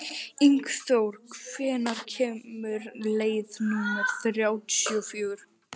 Ingþór, hvenær kemur leið númer þrjátíu og fjögur?